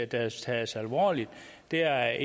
tages tages alvorligt det er